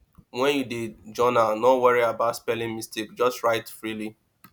when you dey journal no worry about spelling mistake just write freely